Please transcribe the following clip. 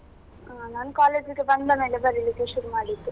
ಹ ನಾನು college ಇಗೆ ಬಂದ ಮೇಲೆಬರಿಲಿಕ್ಕೆ ಶುರು ಮಾಡಿದ್ದು.